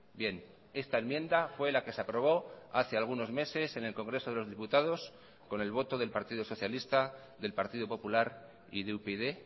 bien esta enmienda fue la que se aprobó hace algunos meses en el congreso de los diputados con el voto del partido socialista del partido popular y de upyd